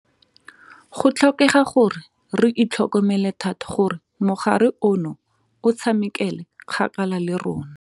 Go tlhokega gore re itlhokomele thata gore mogare ono o tshamekele kgakala le rona.